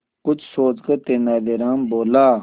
कुछ सोचकर तेनालीराम बोला